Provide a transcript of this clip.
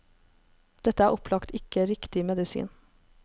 Dette er opplagt ikke riktig medisin.